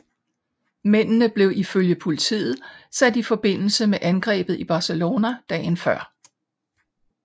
Mændene blev ifølge politiet sat i forbindelse med angrebet i Barcelona dagen før